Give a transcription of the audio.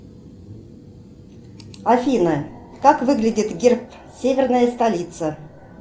афина как выглядит герб северная столица